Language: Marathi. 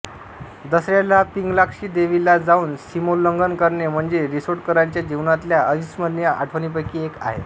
दसऱ्याला पिंगलाक्षी देवी ला जाऊन सीमोल्लंघन करणे म्हणजे रिसोडकरांच्या जीवनातल्या अविस्मरणीय आठवणींपैकी एक आहे